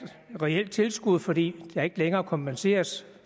reelt tilskud fordi der ikke længere kompenseres